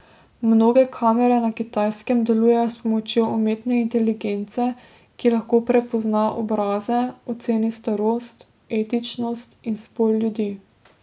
Mnoge kamere na Kitajskem delujejo s pomočjo umetne inteligence, ki lahko prepozna obraze, oceni starost, etničnost in spol ljudi.